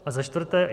A za čtvrté.